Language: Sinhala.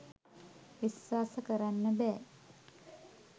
විස්වාස කරන්න බෑ